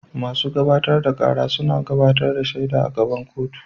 Masu gabatar da kara suna gabatar da shaida a gaban kotu.